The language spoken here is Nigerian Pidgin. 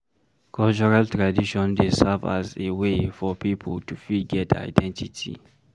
Cultural tradition dey serve as a wey for pipo to fit get identity